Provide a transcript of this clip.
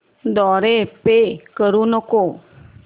द्वारे पे करू नको